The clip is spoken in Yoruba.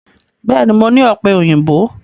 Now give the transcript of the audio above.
Bẹ́ẹ̀ ni, mo ní ọ̀pẹ̀-òyìnbó.